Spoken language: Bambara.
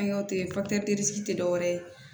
An y'a kɛ tɛ dɔwɛrɛ ye